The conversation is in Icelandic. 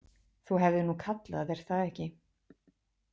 Þú hefðir nú kallað, er það ekki?